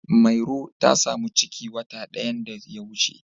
Mairo ta samu ciki watan da ya wuce.